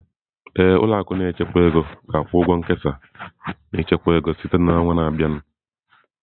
Ee, ụlọ akụ na-echekwa ego ga-akwụ ụgwọ nkesa na ichekwa ego site na ọnwa na-abịa